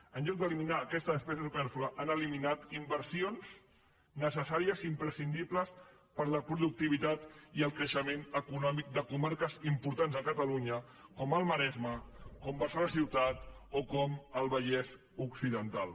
en lloc d’eliminar aquesta despesa supèrflua han eliminat inversions necessàries i imprescindibles per a la productivitat i el creixement econòmic de comarques importants a catalunya com el maresme com barcelona ciutat o com el vallès occidental